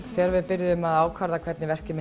þegar við vorum að ákveða hvernig verkið